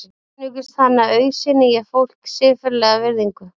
Einungis þannig auðsýni ég fólki siðferðilega virðingu.